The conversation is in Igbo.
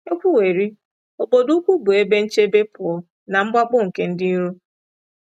E kwuwerị, obodo ukwu bụ ebe nchebe pụọ na mwakpo nke ndị iro.